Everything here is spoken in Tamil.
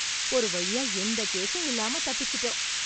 ஒரு வழியா எந்த கேஸும் இல்லாம தப்பிச்சுட்டோம்.